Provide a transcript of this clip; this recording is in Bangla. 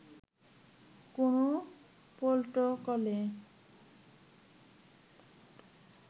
কোন প্রটোকলে